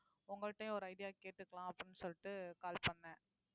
உங்கள்ட்டயும் ஒரு idea கேட்டுக்கலாம் அப்படின்னு சொல்லிட்டு call பண்ணேன்